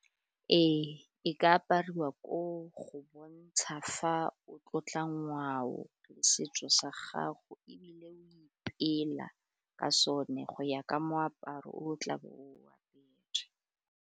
Ee, e ka apariwa koo go bontsha fa o tlotla ngwao le setso sa gago ebile o ipeela ka sone go ya ka moaparo o tla bo o apere.